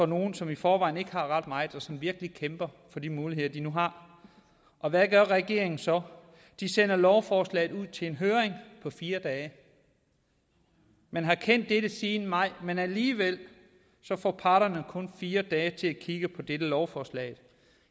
nogle som i forvejen ikke har ret meget og som virkelig kæmper for de muligheder de nu har hvad gør regeringen så de sender lovforslaget ud til en høring på fire dage man har kendt dette siden maj men alligevel får parterne kun fire dage til at kigge på dette lovforslag